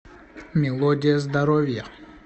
мелодия здоровья